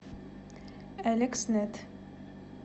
элекснет